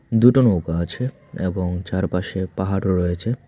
দুটো নৌকা আছে এবং চারপাশে পাহাড়ও রয়েছে।